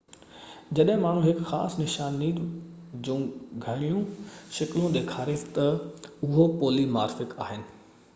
جڏهن ماڻهو هڪ خاص نشاني جون گهڻيون شڪلون ڏيکاري ٿو ته اهي پولي مارفڪ آهن